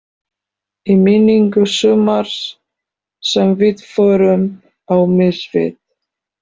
Í minningu sumars sem við förum á mis við.